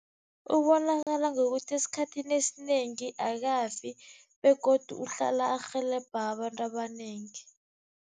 Ubonakala ngokuthi esikhathini esinengi akafi begodu uhlala arhelebha abantu abanengi.